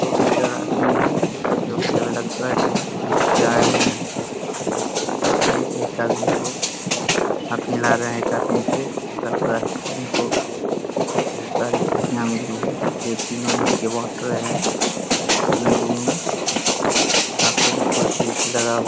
दो बिल्डर आदमी हैं जोकि हमें लगता है सी जीत के आये हुए हैं। यहाँ पे एक आदमी को हाथ मिला रहे हैं एक आदमी से लगता है उनको ढेर साडी खुशियाँ मिल रही हैं जो तीनो मिलके वो बाँट रहे हैं अपने रूम में और यहाँ पे भी कुर्सी वुरसी लगा हुआ --